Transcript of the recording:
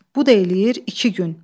Bu da eləyir iki gün.